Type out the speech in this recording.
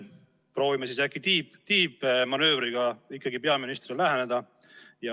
Proovime siis äkki tiibmanöövriga peaministrile läheneda.